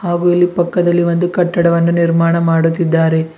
ಹಾಗು ಇಲ್ಲಿ ಪಕ್ಕದಲ್ಲಿ ಒಂದು ಕಟ್ಟಡವನ್ನು ನಿರ್ಮಾಣ ಮಾಡುತ್ತಿದ್ದಾರೆ.